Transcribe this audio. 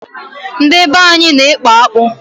Ndị be anyị na-ekpu akpu.